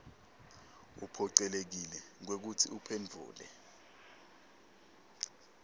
uphocelekile kwekutsi uphendvule